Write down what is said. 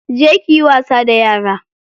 Je kiyi wasa da yara.